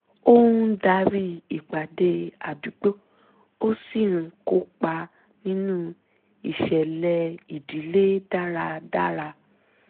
ó ń darí ìpàdé àdúgbò ó sì ń kópa nínú isẹ́ẹlé ìdílé dáradára